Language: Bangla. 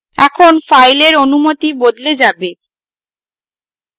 এখন file অনুমতি বদলে যাবে